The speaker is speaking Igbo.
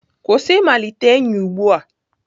Kwụsị ịmalite enyi ugbu a!